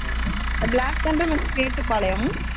Black thunder in Mettupalayam